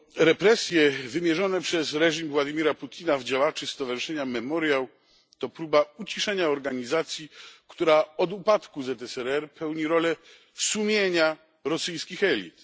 Represje wymierzone przez reżim Władimira Putina w działaczy stowarzyszenia Memoriał to próba uciszenia organizacji, która od upadku ZSRR pełni rolę sumienia rosyjskich elit.